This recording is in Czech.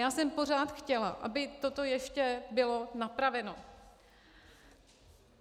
Já jsem pořád chtěla, aby toto ještě bylo napraveno.